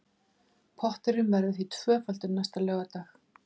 Potturinn verður því tvöfaldur næsta laugardag